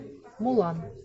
мулан